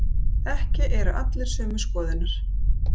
Ekki eru allir sömu skoðunar